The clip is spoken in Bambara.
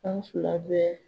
An sula bɛ